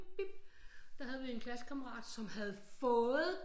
Der havde vi en klassekammerat som havde fået